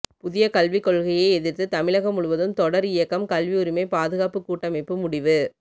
புதிய கல்விக்கொள்கையை எதிர்த்து தமிழகம் முழுவதும் தொடர் இயக்கம் கல்வி உரிமை பாதுகாப்பு கூட்டமைப்பு முடிவு